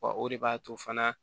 Wa o de b'a to fana